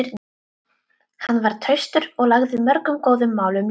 Hann var traustur og lagði mörgum góðum málum lið.